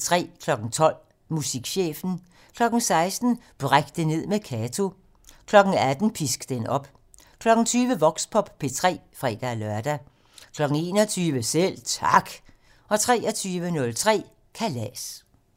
12:00: Musikchefen 16:00: Bræk det ned med Kato 18:00: Pisk den op 20:00: Voxpop P3 (fre-lør) 21:00: Selv Tak 23:03: Kalas